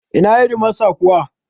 Ina Hedimasta kuwa?